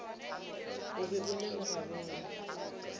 o be o le lerabele